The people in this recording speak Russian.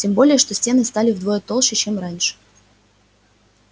тем более что стены стали вдвое толще чем раньше